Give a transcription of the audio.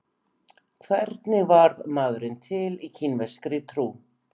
Hvernig varð maðurinn til í kínverskri trú?